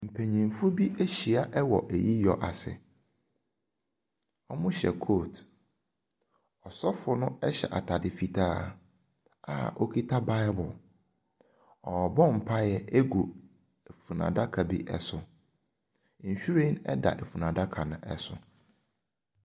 Mpanimfo bi ahyia wɔ ayiyɔ ase. Wɔhyɛ coat. Ɔsɔfo no hyɛ atade fitaa a ɔkita bible. Ɔrebɔ mpaeɛ agu funu adaka bi so. Nhwiren da funu adaka no so.